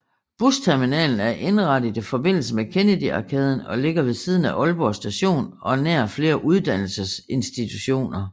Busterminalen er indrettet i forbindelse med Kennedy Arkaden og ligger ved siden af Aalborg Station og nær flere uddannelsesinstitutioner